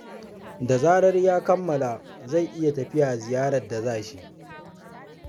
Da zarar ya kammala, zai iya tafiya ziyarar da za shi.